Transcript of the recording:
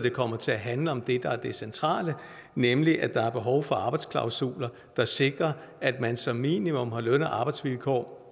det kommer til at handle om det der er det centrale nemlig at der er behov for arbejdsklausuler der sikrer at man som minimum har løn og arbejdsvilkår